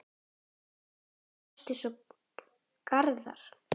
Þínir vinir Ásta og Garðar.